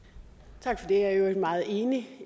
tak for det jeg er i øvrigt meget enig